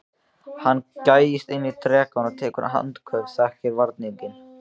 Hann gægist inn í drekann og tekur andköf, þekkir varninginn.